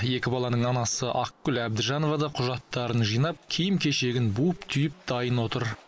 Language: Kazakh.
екі баланың анасы ақгүл әбдіжанова да құжаттарын жинап киім кешегін буып түйіп дайын отыр